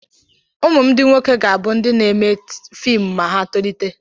Ụmụ m ndị nwoke ga-abụ ndị na-eme fiimu ma ha tolite.